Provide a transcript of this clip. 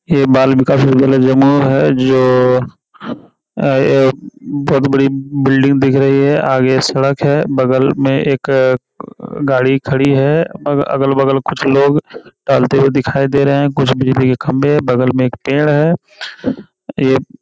हे बाल विकास विद्यालय जमू है जो अ ये बहोत बड़ी बिल्डिंग दिख रही है आगे सड़क है बगल में एक अ गाडी खडी है अगल-बगल कुछ लोग टहलते हुए दिखाई दे रहे हैं कुछ बिजली के खम्भे हैं बगल में एक पेड़ है ये --